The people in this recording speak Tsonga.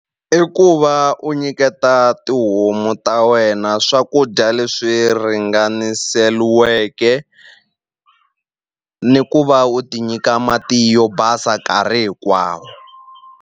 I ku va u nyiketa tihomu ta wena swakudya leswi ringaniseliweke ni ku va u ti nyika mati yo basa nkarhi hinkwawo.